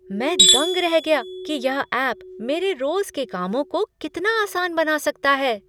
मैं दंग रह गया कि यह ऐप मेरे रोज़ के कामों को कितना आसान बना सकता है।